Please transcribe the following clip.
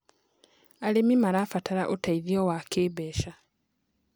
Arĩmĩ marabatara ũteĩthĩo wa kĩmbeca